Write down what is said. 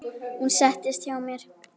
Hún settist hjá mér.